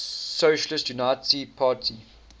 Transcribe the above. socialist unity party